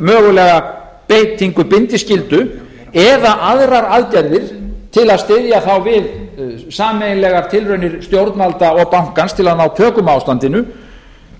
mögulega beitingu bindiskyldu eða aðrar aðgerðir til að styðja við sameiginlegar aðgerðir stjórnvalda og bankans til að ná tökum á ástandinu